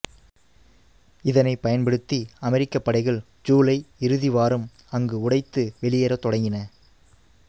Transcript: இதனைப் பயன்படுத்தி அமெரிக்கப் படைகள் சூலை இறுதி வாரம் அங்கு உடைத்து வெளியேறத் தொடங்கின